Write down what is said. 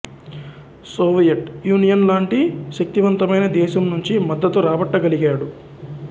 Soviet Union లాంటి శక్తివంతమైన దేశం నుంచి మద్ధతు రాబట్టగలిగాడు